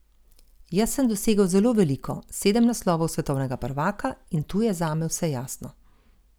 Jaz sem dosegel zelo veliko, sedem naslovov svetovnega prvaka, in tu je zame vse jasno.